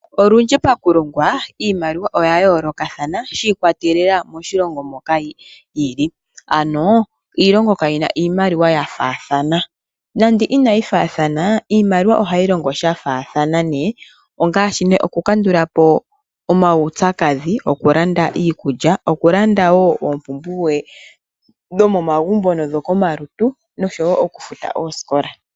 Olundji pakulongwa, iimaliwa oya yoolokathana shiikwatelela moshilongo moka yili. Ano iilongo kayina iimaliwa ya faathana. Nando inayi faathana, iimaliwa ohayi longo sha faathana ngaashi okukandula po omaupyakadhi, okulanda iikulya, okulanda wo oompumbwe dhomomagumbo nodhokomalutu, noshowo okufuta oosikola.